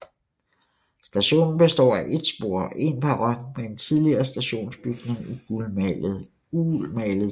Stationen består af et spor og en perron med en tidligere stationsbygning i gulmalet træ